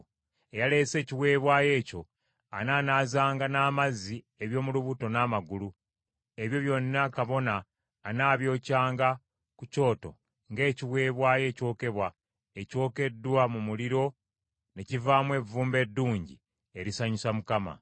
Eyaleese ekiweebwayo ekyo anaanaazanga n’amazzi eby’omu lubuto n’amagulu; ebyo byonna kabona anaabyokyanga ku kyoto ng’ekiweebwayo ekyokebwa, ekyokeddwa mu muliro ne kivaamu evvumbe eddungi erisanyusa Mukama .